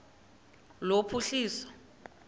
lophuhliso